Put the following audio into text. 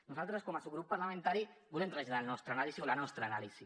nosaltres com a subgrup parlamentari volem traslladar la nostra anàlisi